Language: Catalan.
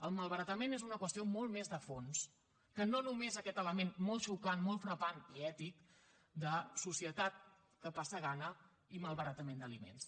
el malbaratament és una qüestió molt més de fons que no només aquest element molt xocant molt frapant i ètic de societat que passa gana i malbaratament d’aliments